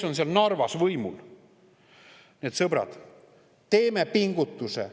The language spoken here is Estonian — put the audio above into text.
Nii et, sõbrad, teeme pingutuse.